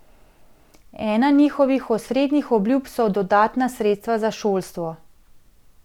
Ena njihovih osrednjih obljub so dodatna sredstva za šolstvo.